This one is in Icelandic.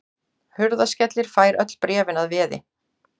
Hurðaskellir fær öll bréfin að veði.